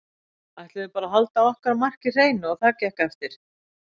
Ætluðum bara að halda okkar marki hreinu og það gekk eftir.